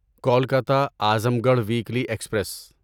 Kolkata Azamgarh weekly express